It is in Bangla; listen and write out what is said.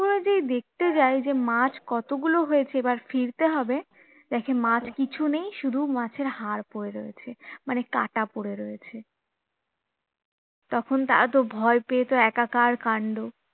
যেই দেখতে যায় যে মাছ কতগুলো হয়েছে এবার ফিরতে হবে দেখে মাছ কিছু নেই শুধু মাছের হাড় পরে রয়েছে মানে কাটা পরে রয়েছে তখন তারা তো ভয় পেয়ে তো একাকার কান্ড